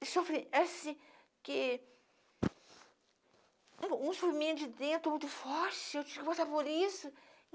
Eu sofri, assim, que... Um um de dentro muito forte, eu tinha que passar por isso.